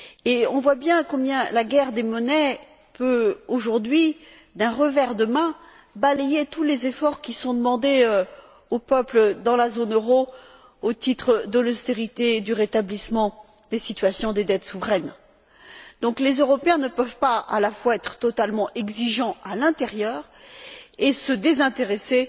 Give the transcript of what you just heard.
Nous voyons bien que la guerre des monnaies peut aujourd'hui, d'un revers de main, balayer tous les efforts qui sont demandés aux peuples dans la zone euro au titre de l'austérité et du rétablissement des situations des dettes souveraines. Les Européens ne peuvent donc pas à la fois être totalement exigeants à l'intérieur et se désintéresser